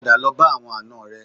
Padà lọ bá àwọn àna rẹ